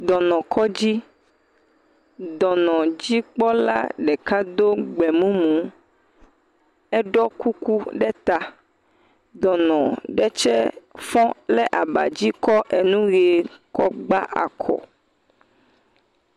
Dɔnɔkɔdzi. Dɔnɔdzikpɔla ɖeka do gbemumu. Eɖɔ kuku ɖe ta. Dɔnɔ ɖe tsɛ fɔ̃ le abadzi kɔ enu ʋee kɔgba akɔ.